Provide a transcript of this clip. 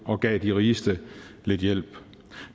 og gav de rigeste lidt hjælp